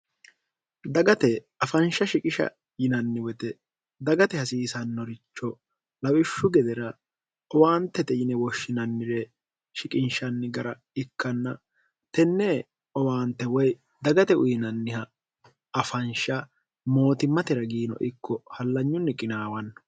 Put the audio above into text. dagate afansha shiqisha yinanni woyite dagate hasiisannoricho lawishshu gedera owaantete yine woshshinannire shiqinshanni gara ikkanna tenne owaante woy dagate uyinanniha afansha mootimmate ragiino ikko hallanyunni qinaawanno